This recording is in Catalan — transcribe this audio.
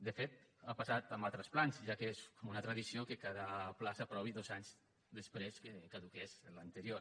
de fet ha passat amb altres plans ja que és com una tradició que cada pla s’aprovi dos anys després que caduqui l’anterior